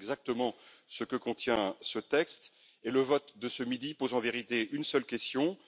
C'est exactement ce que contient ce texte et le vote de ce midi pose en vérité une seule question